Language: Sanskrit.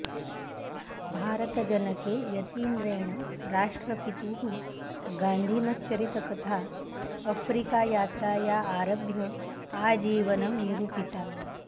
भारतजनके यतीन्द्रेण राष्ट्रपितुः गान्धिनश्चरितकथा अफ्रीकायात्राया आरभ्य आजीवनं निरूपिता